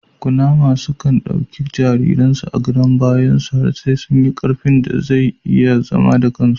Kunama sukan ɗauki jariren su a gadon bayan sa has sai sun yi karfin da zau iya zama akan su